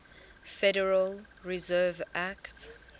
federal reserve act